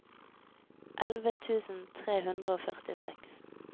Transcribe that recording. elleve tusen tre hundre og førtiseks